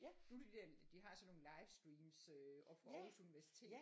Nu det de der de har sådan nogle livestreams øh oppe fra Aarhus Universitet